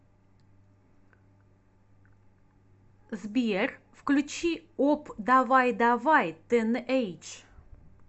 сбер включи опдавайдавай тэнэйдж